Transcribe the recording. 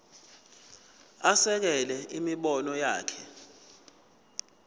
asekele imibono yakhe